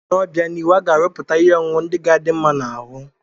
N'obianihu, a ga-arụpụtakwu ihe ọṅụṅụ ndị ga-adị mma n'ahụ